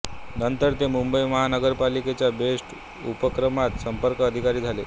नंतर ते मुंबई महानगरपालिकेच्या बेस्ट उपक्रमात संपर्क अधिकारी झाले